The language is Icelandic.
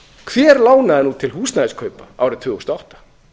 hver lánaði nú til húsnæðiskaupa árið tvö þúsund og átta